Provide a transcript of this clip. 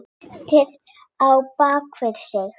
Hún treysti á bak sitt.